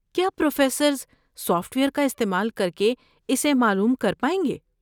کیا professors software کا استعمال کر کے اسے معلوم کر پائیں گے؟